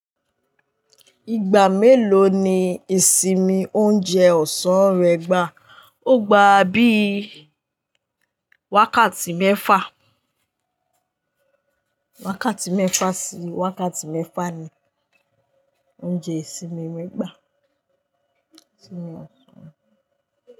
Ìgbà mélòó ni ìsinmi oúnjẹ ọ̀sán rẹ gbà? Ó gbà bí i wákàtí mẹ́fà. Wákàtí mẹ́fà sí wákàtí mẹ́fà ni oúnjẹ ìsinmi mi gbà. Ìsinmi ọ̀sán.